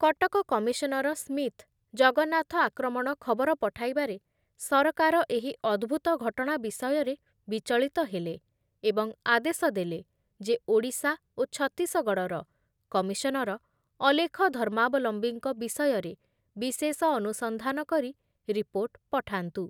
Cuttack commissioner Smith Jagannath ଆକ୍ରମଣ ଖବର ପଠାଇବାରେ ସରକାର ଏହି ଅଦ୍ଭୁତ ଘଟଣା ବିଷୟରେ ବିଚଳିତ ହେଲେ ଏବଂ ଆଦେଶଦେଲେ ଯେ ଓଡ଼ିଶା ଓ ଛତିଶଗଡ଼ର କମିଶନର ଅଲେଖ ଧର୍ମାବଲମ୍ବୀଙ୍କ ବିଷୟରେ ବିଶେଷ ଅନୁସନ୍ଧାନ କରି ରିପୋର୍ଟ ପଠାନ୍ତୁ ।